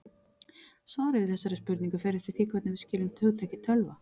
Svarið við þessari spurningu fer eftir því hvernig við skiljum hugtakið tölva.